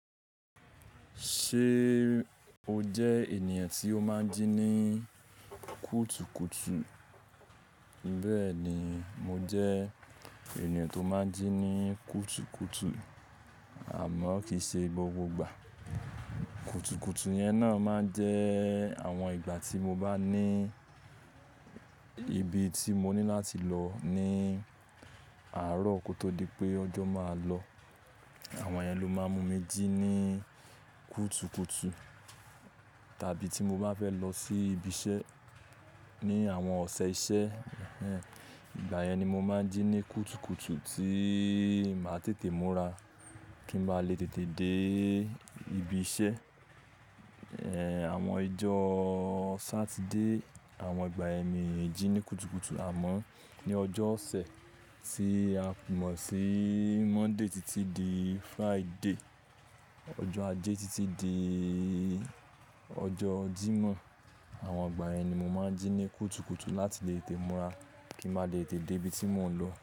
Ṣé o jẹ ènìyàn tí ó máa ń jí ní kútu kútu? Bẹ́ẹ̀ni, mo jẹ ènìyàn tó máa ń jí ní kútu kútu àmọ́ kì í ṣe gbogbo ìgbà. Kútu kútu yẹn náà máa ń jẹ àwọn ìgbà tí mo má ní ibi tí mo ní láti lọ ní àárọ̀ kó tó di pé ọjọ́ máa lọ. Àwọn yẹn ló máa ń mú mi jí ní kútu kútu. Tàbí tí mo bá fẹ́ lọ sí ibi iṣẹ́ ní àwọn ọ̀sẹ̀ iṣẹ́, ìgbà yẹn ni mo máa ń jí ní kútu kútu tí màá tètè múra kí n máa lè tètè dé ibi iṣẹ́. Àwọn ijọ́ Saturday, àwọn ìgbà ẹmi ń jí ní kútu kútu àmọ́ ní ọjọ́ ọ̀sẹ̀ tí a fìnmọ̀ sí Monday títí di Friday. Ọjọ́ Ajé títí di ọjọ́ Jímọ̀. Àwọn ìgbà yẹn ni mo máa ń jí ní kútu kútu láti lè tè múra kí n máa lè tètè dé ibi tí mò ń lọ.